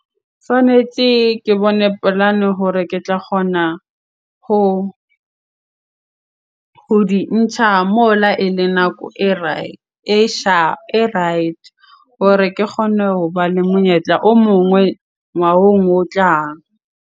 Tshwanetse ke bone polane hore ke tla kgona ho di ntjha mola ele nako e e right hore ke kgone hoba le monyetla o mongwe ngwahong o tlang.